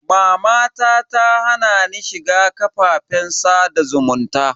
Mama ta hana ni shiga kafafen sada zumunta.